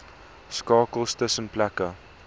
skakels tussen plekke